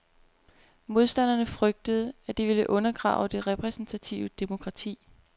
Modstanderne frygter, at det vil undergrave det repræsentative demokrati.